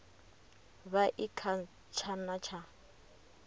vha i kha tshana tsha